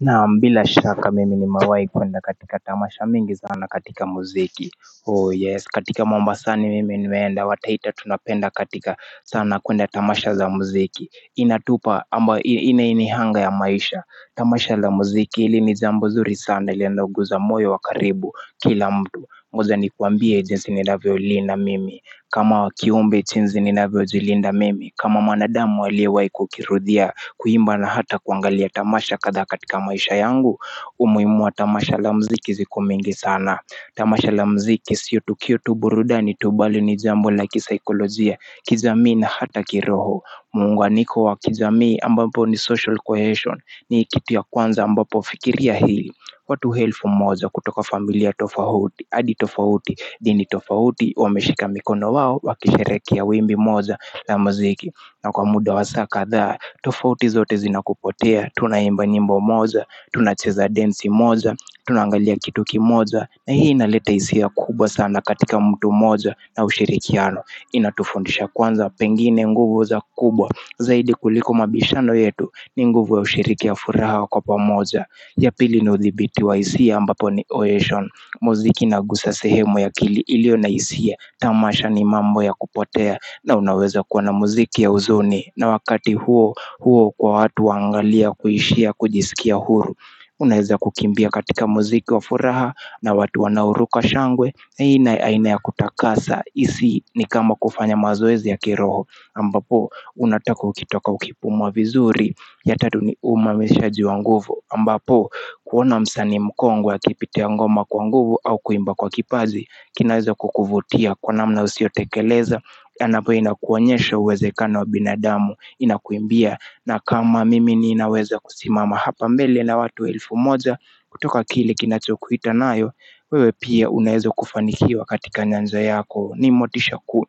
Naam bila shaka mimi nimewahi kuenda katika tamasha mingi sana katika muziki Oh yes katika mombasani mimi nimeenda wataita tunapenda katika sana kuenda tamasha za muziki Inatupa ama inainihanga ya maisha Tamasha za muziki hili ni jambo zuri sana ile inayoguza moyo wa karibu kila mtu ngoja nikuambie jinsi ninavyo linda mimi kama kiumbe jinsi ninavyojilinda mimi kama mwanadamu aliyewahi kukirudhia kuimba na hata kuangalia tamasha kadhaa katika maisha yangu umuhimu wa tamasha la muziki ziko mingi sana Tamasha la muziki sio tukio tu burudani tu bali ni jambo la kisaikolojia kijamii na hata kiroho Muunganiko wa kijamii ambapo ni social cohesion ni kitu ya kwanza ambapo fikiria hili watu elfu moja kutoka familia tofauti Adi tofauti dini tofauti Wameshika mikono wao, wakisherehekea ya wimbi moja la muziki na kwa muda wa saa kadhaa, tofauti zote zina kupotea Tuna imba nyimbo moja, tuna cheza densi moja, tuna angalia kitu kimoja na hii inaleta hisia kubwa sana katika mtu mmoja na ushirikiano Inatufundisha kwanza, pengine nguvu za kubwa Zaidi kuliko mabishano yetu ni nguvu ya ushiriki ya furaha kwa pamoja ya pili ni uthibiti wa hisia ambapo ni oeshon Muziki inagusa sehemu ya akili ilionahisia Tamasha ni mambo ya kupotea na unaweza kuwa na muziki ya huzuni na wakati huo, huo kwa watu wangalia kuishia kujisikia huru Unaweza kukimbia katika muziki wa furaha na watu wanaoruka shangwe hii na aina ya kutakasa isi ni kama kufanya mazoezi ya kiroho ambapo, unatoka ukitoka ukipumua vizuri ya tatu ni umamishaji wa nguvu ambapo kuona msanii mkongwe akipitia ngoma kwa nguvu au kuimba kwa kipaji kinaweza kukuvutia kwa namna usiotekeleza tena pia inakuonyesha uwezekano wa binadamu inakuimbia na kama mimi ninaweza kusimama hapa mbele na watu elfu moja kutoka kile kinachokuita nayo wewe pia unaweza kufanikiwa katika nyanja yako ni motisha ku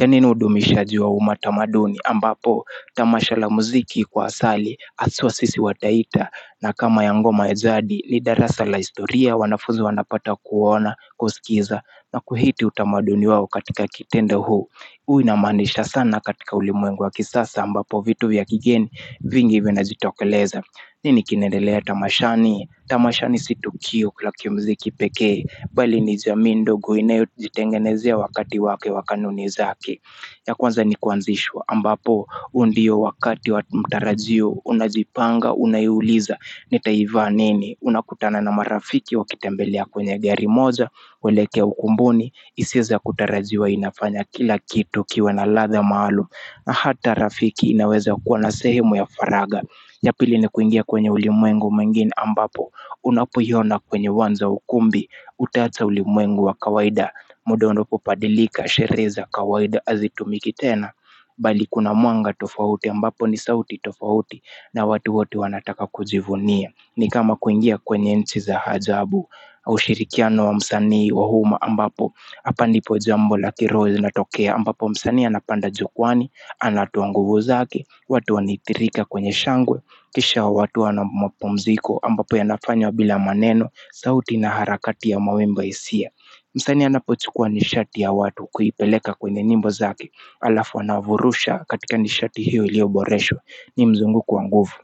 ya nne ni udumishaji wa umatamaduni ambapo tamashal a muziki kwa asali haswa sisi wataita na kama ya ngoma ya jadinli darasa la historia wanafunzi wanapata kuona kusikiza na kuhiti utamaduni wao katika kitenda huu Uwa inamaanisha sana katika ulimwengu wa kisasa ambapo vitu ya kigeni vingi vinajitokeleza nini kinaendelea tamashani, tamashani si tukio la kimuziki pekee Bali ni jamii ndogo inayojitengenezea wakati wake wa kanuni zake ya kwanza ni kuanzishwa ambapo huu ndio wakati wa mtarajio unajipanga unaiuliza nitaivaa nini unakutana na marafiki wakitembelea kwenye gari moja kuelekea ukumbuni hisia za kutarajiwa inafanya kila kitu kiwe na ladha maalum na hata rafiki inaweza kuwa na sehemu ya faragha ya pili ni kuingia kwenye ulimwengu mwingine ambapo unapoiona kwenye uwanja wa ukumbi Utaacha ulimwengu wa kawaida muda unapobadilika sherehe za kawaida hazitumiki tena Bali kuna mwanga tofauti ambapo ni sauti tofauti na watu wote wanataka kujivunia ni kama kuingia kwenye nchi za hajabu kwa ushirikiano wa msanii wa umma ambapo Hapa nipo jambo la kiroho linatokea ambapo msanii anapanda jukwaani anatoa nguvu zake watu wanithirika kwenye shangwe Kisha watu wanamapumziko ambapo yanafanywa bila maneno sauti na harakati ya mawimbi ya hisia msanii anapochukua nishati ya watu kuipeleka kwenye nyimbo zake Alafu anavurusha katika nishati hiyo ilioboreshwa ni mzunguko wa nguvu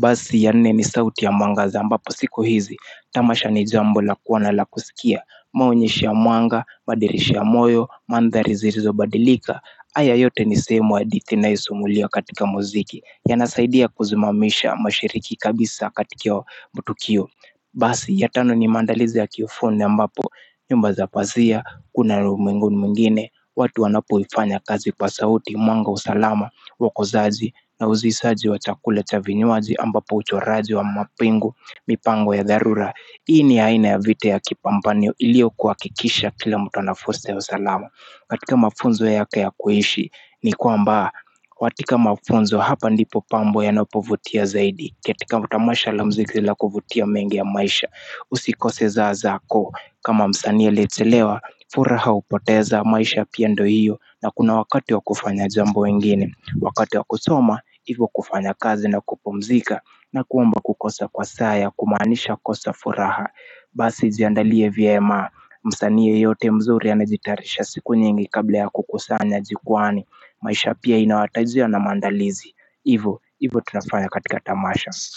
Basi ya nne ni sauti ya mwangaza ambapo siku hizi Tamasha ni jambo la kuwa na lakusikia maonyesho mwanga, madirisha ya moyo, mandhari zilizo badilika Aya yote ni sehemu ya hadithi inayosimuliwa katika muziki yanasaidia kuzimamisha mashiriki kabisa katika hiyo matukio Basi, ya tano ni maandalizi ya kiufundi ambapo nyumba zapazia, kuna ulimwenguni mwingine watu wanapoifanya kazi kwa sauti, mwanga wa usalama wako zaaji, na uzisaji wa chakula cha vinywaji ambapo ucho raji wa mapingu, mipango ya dharura Hii ni aina ya vita ya kipambanio ilio kuha kikisha kila mtu anafursa ya usalama katika mafunzo yake ya kuishi ni kwamba, watika mafunzo hapa ndipo pambo ya napovutia zaidi ketika tamasha la muziki la kuvutia mengi ya maisha usikoseza zaako kama msanii aliyechelewa furaha upoteza maisha pia ndo hiyo na kuna wakati wa kufanya jambo ingine wakati wa kusoma hivo kufanya kazi na kupumzika na kuomba kukosa kwa saa ya kumaanisha kosa furaha basi jiandalie vyema msanii yeyote mzuri anajitarisha siku nyingi kabla ya kukusanya jukwaani maisha pia inawatajia na maandalizi Ivo, ivo tunafanya katika tamasha.